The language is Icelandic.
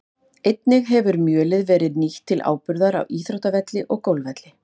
Einnig hefur mjölið verið nýtt til áburðar á íþróttavelli og golfvelli.